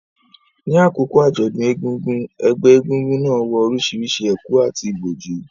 Ní àkókò àjọ̀dún egúngún, ẹgbẹ́ egúngún náà wọ orísìírísìí ẹ̀kú àti ìbòjú,